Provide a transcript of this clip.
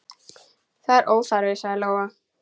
Það er óþarfi, sagði Lóa.